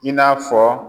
I n'a fɔ